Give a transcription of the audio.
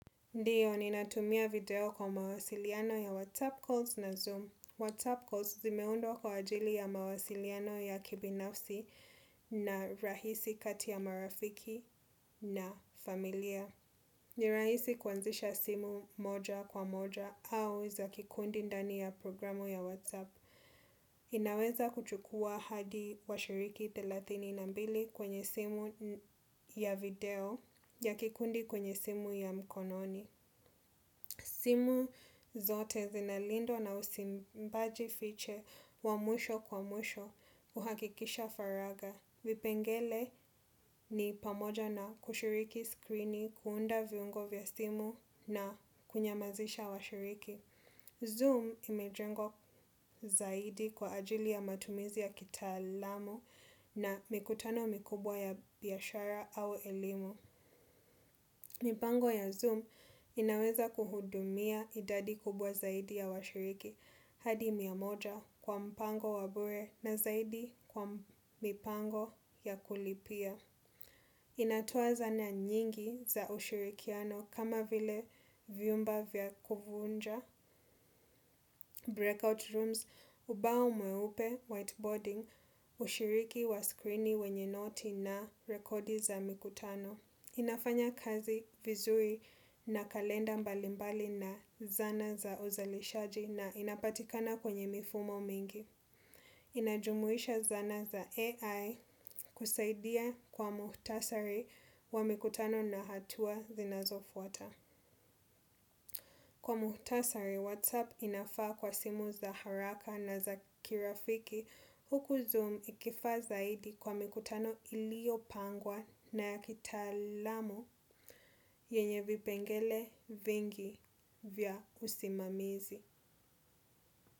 Ndiyo, ni natumia video kwa mawasiliano ya WhatsApp Calls na Zoom. WhatsApp Calls zimeundwa kwa ajili ya mawasiliano ya kibinafsi na rahisi kati ya marafiki na familia. Nirahisi kuanzisha simu moja kwa moja au za kikundi ndani ya programu ya WhatsApp. Inaweza kuchukua hadi wa shiriki thelathini na mbili kwenye simu ya video ya kikundi kwenye simu ya mkononi. Simu zote zinalindwa na usimbaji fiche wa mwisho kwa mwishi kuhakikisha faraga. Vipengele ni pamoja na kushiriki screeni, kuunda viungo vya simu na kunyamazisha wa shiriki. Zoom imejengwa zaidi kwa ajili ya matumizi ya kitaalamu na mikutano mikubwa ya biashara au elimu. Mipango ya Zoom inaweza kuhudumia idadi kubwa zaidi ya washiriki hadi miamoja kwa mpango wa bure na zaidi kwa mipango ya kulipia. Inatoa zana nyingi za ushirikiano kama vile viumba vya kuvunja breakout rooms, ubao mweupe whiteboarding, ushiriki wa screeni wenye noti na rekodi za mikutano. Inafanya kazi vizuri na kalenda mbalimbali na zana za uzalishaji na inapatikana kwenye mifumo mingi. Inajumuisha zana za AI kusaidia kwa muhtasari wa mikutano na hatua zinazo fuata. Kwa muhtasari, Whatsapp inafaa kwa simu za haraka na za kirafiki huku zoom ikifaa zaidi kwa mikutano iliyo pangwa na ya kitaalamu yenye vipengele vingi vya usimamizi.